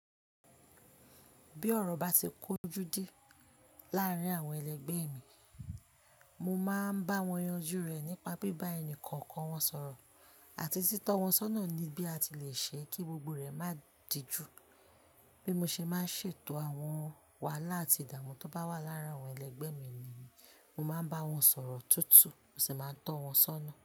Bí ọ̀rọ̀ bá ti kójú dí láàárín àwọn ẹlẹgbẹ́ mi, mo máa ń bá wọn yanjú rẹ̀ nípa bíbá ẹni kọ̀ọ̀kan wọn sọ̀rọ̀ àti títọ́ wọn sọ́nà ní bí a ti le ṣe kí gbogbo rẹ̀ má dìjú. Bí mo ṣe máa ń ṣètò àwọn wàhálà àti ìdààmú tó bá wà lára àwọn ẹlẹgbẹ́ mi ni, mo máa ń bá wọn sọ̀rọ̀ tútù, mo sì máa ń tọ́ wọn sọ́nà.